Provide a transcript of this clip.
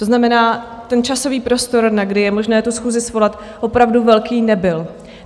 To znamená, ten časový prostor, na kdy je možné tu schůzi svolat, opravdu velký nebyl.